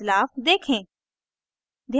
बदलाव देखें